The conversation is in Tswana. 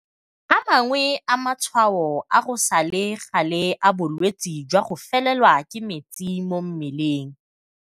A mangwe a matshwao a go sa le gale a bolwetse jwa go felelwa ke metsi mo mmeleng